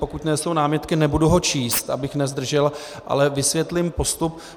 Pokud nejsou námitky, nebudu ho číst, abych nezdržel, ale vysvětlím postup.